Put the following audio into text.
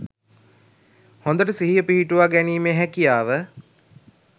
හොඳට සිහිය පිහිටුවා ගැනීමේ හැකියාව